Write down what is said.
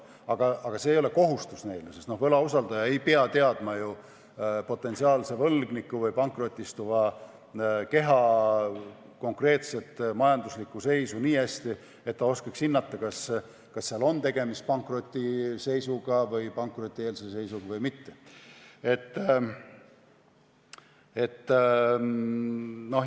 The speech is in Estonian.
Aga see ei ole neile kohustus, sest võlausaldaja ei pea ju teadma potentsiaalse võlgniku või konkreetse pankrotistuva keha majanduslikku seisu nii hästi, et ta oskaks hinnata, kas seal on tegemist pankrotieelse seisuga või mitte.